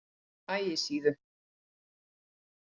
Ægisíðu